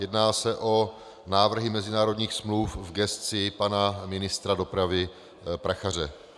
Jedná se o návrhy mezinárodních smluv v gesci pana ministra dopravy Prachaře.